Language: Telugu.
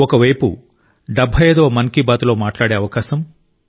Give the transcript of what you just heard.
ఒకవైపు 75 వ మన్ కీ బాత్లో మాట్లాడే అవకాశం